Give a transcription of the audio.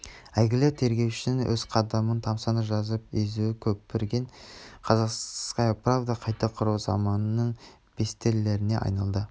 әйгілі тергеушінің әр қадамын тамсана жазып езуі көпірген казахстанская правда қайта құру заманының бестеллеріне айналды